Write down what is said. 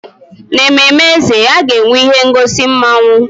N'ememme eze, a ga-enwe ihe ngosi mmawụ.